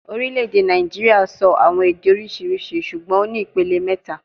Orile-ede Naijiria sọ awọn ede oriṣiriṣi ṣugbọn o ni ipilẹ mẹta